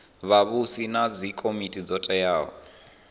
vhavhusi na dzikomiti dzo teaho